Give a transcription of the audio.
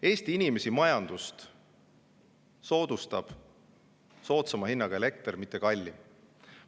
Eesti inimesi ja majandust soodsama hinnaga, mitte kallim elekter.